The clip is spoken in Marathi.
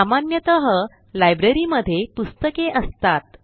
सामान्यतः लायब्ररी मध्ये पुस्तके असतात